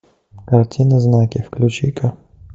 картина знаки включи ка